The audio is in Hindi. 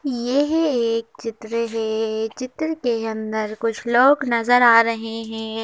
यह एक चित्र है चित्र के अंदर कुछ लोग नजर आ रहे हैं।